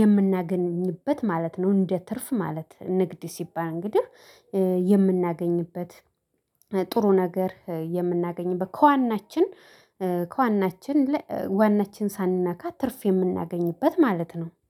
የምናገኝበት ማለት ነው። እንደ ትርፍ ማለት ንግድ ሲባል እንግዲህ የምናገኝበት ጥሩ ነገር የምናገኝበት ከዋናችን ከዋናችን ዋናችን ሳንነካ ትርፍ የምናገኝበት ማለት ነው